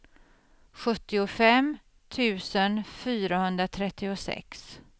sjuttiofem tusen fyrahundratrettiosex